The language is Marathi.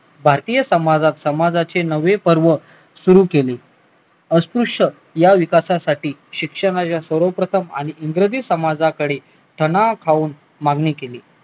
भारतीय समाजात समाजाचे नवे पर्व सुरु केले अस्पृश्य या विकासाठी शिक्षण या सर्वप्रथम इंग्रजी समाजाकडे मागणी केली